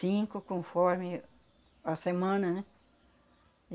Cinco conforme a semana, né?